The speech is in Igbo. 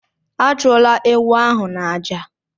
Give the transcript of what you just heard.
Achụla ewu ahụ n'àjà!